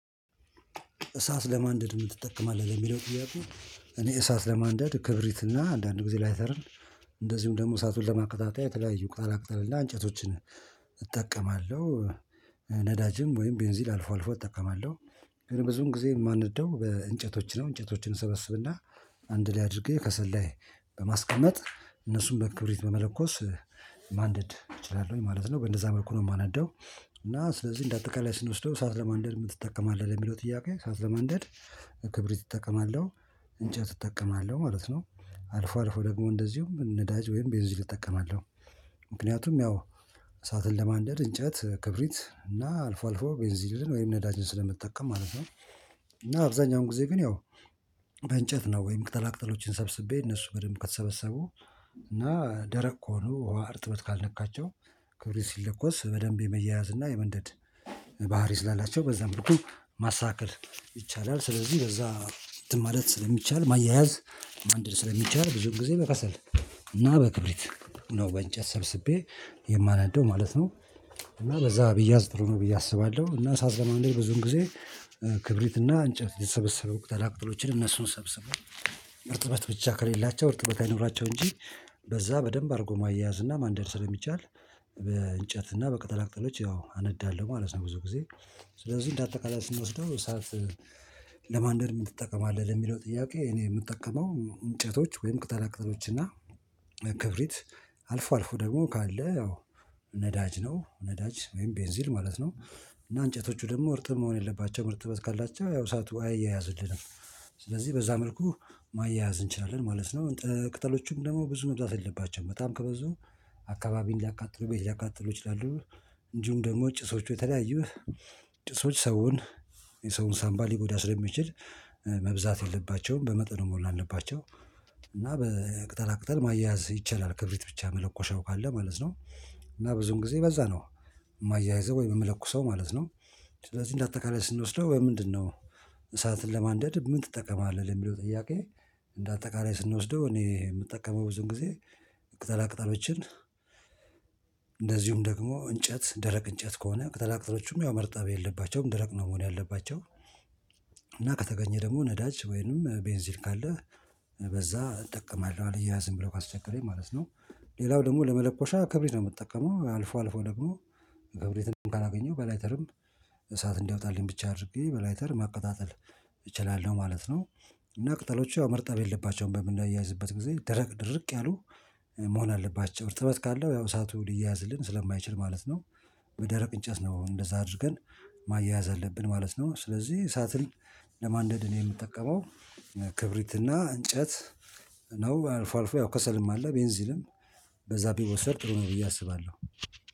እሳት ለማንደድ ምን ትጠቀማለህ? ለሚለው ጥያቄ? እኔ እሳት ለማንደድ ክብሪት እና አንዳንድ ጊዜ ላይተረን። እንደዚሁም ደግሞ እሳቱን ለማቀጣጠያ የተለያዩ ቅጠላ ቅጠል እና እንጨቶችን እጠቀማለሁ። ነዳጅም ወይም ቤንዚል አልፎ አልፎ እጠቀማለሁ። ግን ብዙን ጊዜ የማነደው በእንጨቶች ነው። እንጨቶችን እሰበስብና አንድ ላይ አድርጌ ከሰል ላይ በማስቀመጥ እነሱን በክብሪት በመለኮስ ማንደድ እችላለሁኝ ማለት ነው። በእንደዛ መልኩ ነው የማናደው። እና ስለዚህ እንደ አጠቃላይ ስንወስደው እሳት ለማንደድ ምን ትጠቀማለህ ለሚለው ጥያቄ እሳት ለማንደድ ክብሪት እጠቀማለሁ። እንጨት እጠቀማለሁ ማለት ነው። አልፎ አልፎ ደግሞ እንደዚሁም ነዳጅ ወይም ቤንዚል እጠቀማለሁ። ምክንያቱም ያው እሳትን ለማንደድ እንጨት፣ ክብሪት እና አልፎ አልፎ ቤንዚልን ወይም ነዳጅን ስለምጠቀም ማለት ነው። እና አብዛኛውን ጊዜ ግን ያው በእንጨት ነው ወይም ቅጠላ ቅጠሎችን ሰብስቤ እነሱ በደንብ ከተሰበሰቡ። እና ደረቅ ከሆኑ ውሃ እርጥበት ካልነካቸው። ክብሪት ሲለኮስ በደንብ የመያያዝ እና የመንደድ ባህሪ ስላላቸው በዛ መልኩ ማስተካከል ይቻላል። ስለዚህ በዛ እንትን ማለት ስለሚቻል ማያያዝ ማንደድ ስለሚቻል ብዙም ጊዜ በከሰል እና በክብሪት ነው በእንጨት ሰብስቤ የማናደው ማለት ነው። እና በዛ ቢያዝ ጥሩ ነው ብዬ አስባለሁ። እና እሳት ለማደድ ብዙን ጊዜ ክብሪት እና እንጨት ሊሰበሰቡ ቅጠላ ቅጠሎችን እነሱን ሰብስበን እርጥበት ብቻ ከሌላቸው እርጥበት አይኑራቸው እንጂ በዛ በደንብ አድርጎ ማያያዝ እና ማንደድ ስለሚቻል። በእንጨት እና በቅጠል አቅጠሎች ያው አነዳለሁ ማለት ነው። ብዙ ጊዜ ስለዚህ እንደ አጠቃላይ ስንወስደው ሰዓት ለማንደድ ምን ትጠቀማለህ ለሚለው ጥያቄ? እኔ የምጠቀመው እንጨቶች ወይም ቅጠላ ቅጠሎች እና ክብሪት አልፎ አልፎ ደግሞ ካለ ነዳጅ ነው ነዳጅ ወይም ቤንዚል ማለት ነው። እና እንጨቶቹ ደግሞ እርጥ መሆን የለባቸውም እርጥበት ካላቸው ያው እሳቱ አያያዝልንም። ስለዚህ በዛ መልኩ ማያያዝ እንችላለን ማለት ነው። ቅጠሎቹም ደግሞ ብዙ መብዛት የለባቸውም በጣም ከበዙ አካባቢን ሊያቃጥሉ ቤት ሊያቃጥሉ ይችላሉ። እንዲሁም ደግሞ ጭሶቹ የተለያዩ ጭሶች ሰውን የሰውን ሳምባ ሊጎዳ ስለሚችል መብዛት የለባቸውም በመጠኑ መሆን አለባቸው። በቅጠላ ቅጠል ማያያዝ ይቻላል ክብሪት ብቻ መለኮሻው ካለ ማለት ነው። እና ብዙም ጊዜ በዛ ነው የማያይዘው ወይ የምለኩሰው ማለት ነው። ስለዚህ እንደ አጠቃላይ ስንወስደው ወይ ምንድነው? እሳትን ለማንደድ ምን ትጠቀማለህ ለሚለው ጥያቄ? እንደ አጠቃላይ ስንወስደው እኔ የምጠቀመው ብዙን ጊዜ ቅጠላ ቅጠሎችን። እንደዚሁም ደግሞ እንጨት ደረቅ እንጨት ከሆነ ቅጠላ ቅጠሎችም ያው መርጠብ የለባቸውም ደረቅ ነው መሆን ያለባቸው። እና ከተገኘ ደግሞ ነዳጅ ወይንም ቤንዚል ካለ በዛ እጠቀማለሁ አልያያዝም ብሎ ካስቸገረኝ ማለት ነው። ሌላው ደግሞ ለመለኮሻ ክብሪት ነው የምጠቀመው አልፎ አልፎ ደግሞ ክብሪትን ካላገኘው በላይተርም እሳት እንዲያወጣልኝ ብቻ አድርጌ በላይተር ማቀጣጠል እችላለሁ ማለት ነው። እና ቅጠሎቹ ያው መርጠብ የለባቸውም በምናያይዝበት ጊዜ ደረቅ ድርቅ ያሉ መሆን አለባቸው እርጥበት ካለው ያው እሳቱ ሊያያዝልን ስለማይችል ማለት ነው። በደረቅ እንጨት ነው እንደዛ አድርገን ማያያዝ አለብን ማለት ነው። ስለዚህ እሳትን ለማንደድ እኔ የምጠቀመው ክብሪትና እንጨት ነው አልፎ አልፎ ያው ከሰልም አለ ቤንዚልም በዛ ቢወሰድ ጥሩ ነው ብዬ አስባለሁ